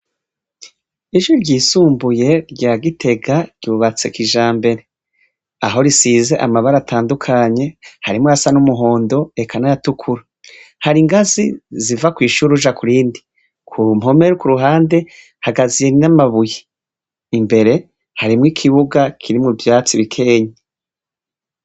Ishure ryisumbuye rya Gitega ryubatse kijambere. Aho risize amabara atandukanye, harimwo ayasa n'umuhondo, eka n'ayatukura. Hari ingazi ziva kw'ishure uja kurindi. Ku mpome ku ruhande, hagaziye n'amabuye. Imbere harimwo ikibuga kirimwo ivyatsi bikenyi.